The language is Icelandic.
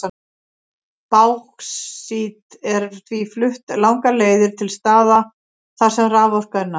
Báxít er því flutt langar leiðir til staða þar sem raforka er næg.